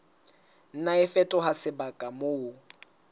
nna a fetoha sebaka moo